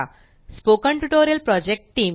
spoken tutorial project team